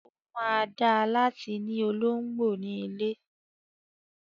Ó máa dáa láti ni ológbò ní ilé.